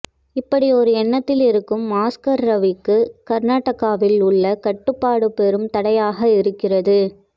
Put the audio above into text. இப்படியொரு எண்ணத்தில் இருக்கும் ஆஸ்கார் ரவிக்கு கர்னாடகாவில் உள்ள கட்டுப்பாடு பெரும் தடையாக இருக்கிறது